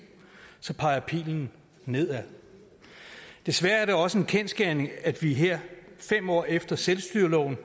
peger pilen nedad desværre er det også en kendsgerning at vi her fem år efter selvstyreloven